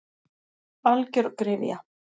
Algjör gryfja.